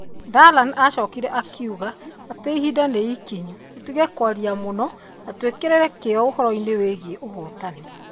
Dalaney aacokire akiuga atĩ ihinda nĩ ikinyu tũtige kwaria mũno na twĩkĩre kĩyo ũhoro-inĩ wĩgiĩ ũhootani.